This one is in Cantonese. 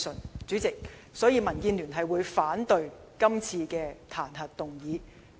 因此，主席，民建聯反對這次彈劾議案。